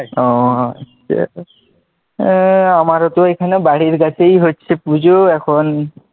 ওহ ঠিক আছে, আমারোঁ তো বাড়ির কাছেই হচ্ছে পুজো এখন,